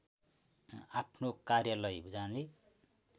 आफ्नो कार्यालय जाने